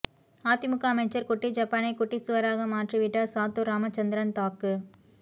அதிமுக அமைச்சர் குட்டி ஜப்பானை குட்டி சுவராக மாற்றி விட்டார் சாத்தூர் ராமச்சந்திரன் தாக்கு